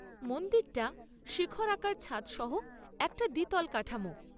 মন্দিরটা শিখরাকার ছাদ সহ একটা দ্বিতল কাঠামো।